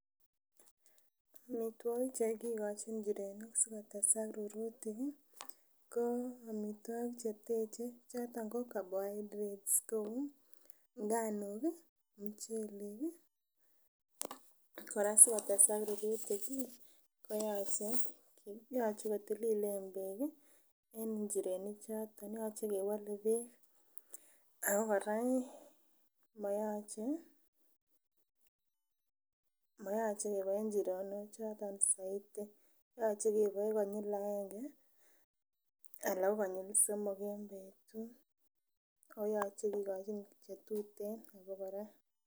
Amituakik chekikochin inchirenik sikotesak rurutik ih amituakik chekikochin ko choto carbohydrates kouu nganuk ih muchelek koyache kotililen bek Ako kora ih moyoche kebae nchironuak choton soiti. Yoche keboe konyil aenge en betut okoyache kikoi chetuten.